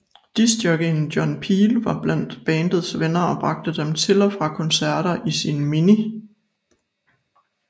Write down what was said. Discjockeyen John Peel var blandt bandets venner og bragte dem til og fra koncerter i sin Mini